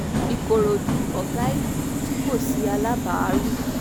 ìkòròdú ọ̀gá ìlú tí kò sí alábàárù